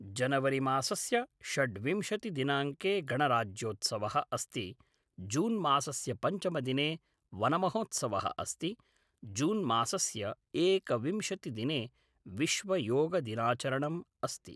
जनवरि मासस्य षड्विंशतिदिनाङ्के गणराज्योत्सवः अस्ति जून् मासस्य पञ्चमदिने वनमहोत्सवः अस्ति जून् मासस्य एकविंशतिदिने विश्वयोगदिनाचरणम् अस्ति